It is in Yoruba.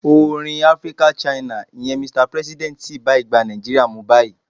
Orin African China, ìyẹn "Mr President" sì bá ìgbà Nigeria mu báyìí.